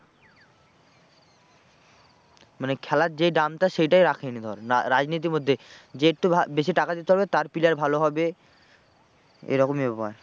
মানে খেলার যে দামটা সেইটাই রাখেনি ধর না রাজনীতির মধ্যে যে একটু বেশি টাকা দিতে পারবে তার player ভালো হবে এরকমই ব্যাপার।